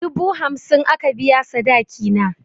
Dubu hamsin aka biya sadaki na.